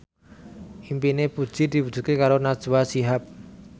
impine Puji diwujudke karo Najwa Shihab